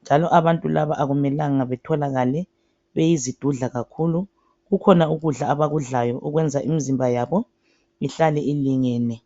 Njalo abantu laba akumelanga betholakale beyizidudla kakhulu. Kukhona ukudla, abakudlayo okwenza imzimba yabo ihlale ilingene.